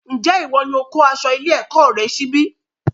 Njé ìwo ní o kó aṣọ ilé-èkó rẹ sí ibí?